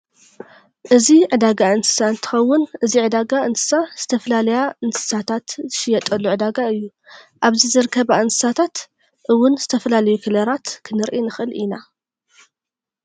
እዚ ዕዳጋ እንስሳ እንትከውን እዚ ዕዳጋ እንስሳ ዝተፈላለያ እንስሳት ዝሽየጣሉ ዕዳጋ እዩ። ኣብዚ ዝርከባ እንስሳት እውን ዝተፈላለዩ ከለራት ክንሪኢ ንክእል ኢና።